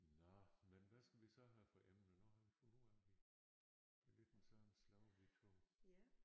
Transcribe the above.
Nåh men hvad skal vi så have for emne nu har vi fundet ud af vi at vi den samme slags vi 2